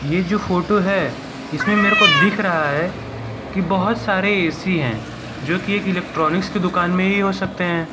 ये जो फोटो है इसमें मेरको दिख रहा है कि बहोत सारे ए_सी हैं जोकि एक इलेक्ट्रॉनिक्स की दुकान में ही हो सकते हैं।